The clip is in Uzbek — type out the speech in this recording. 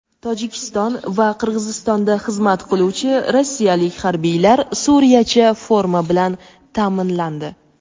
Tojikiston va Qirg‘izistonda xizmat qiluvchi rossiyalik harbiylar "suriyacha" forma bilan ta’minlandi.